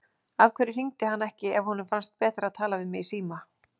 Af hverju hringdi hann ekki ef honum fannst betra að tala við mig í síma?